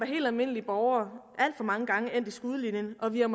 helt almindelige borgere alt for mange gange endt i skudlinjen og vi har